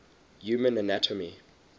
human anatomy